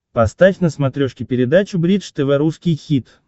поставь на смотрешке передачу бридж тв русский хит